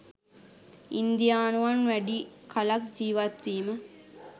ඉන්දියානුවන් වැඩි කලක් ජීවත් වීම